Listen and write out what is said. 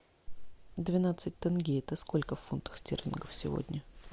двенадцать тенге это сколько в фунтах стерлингов сегодня